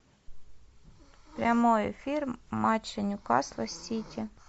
прямой эфир матча ньюкасла с сити